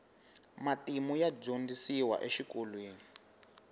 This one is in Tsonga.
matimu ya dyondzisiwa exikolweni